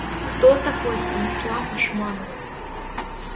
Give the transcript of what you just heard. кто такой станислав ашманов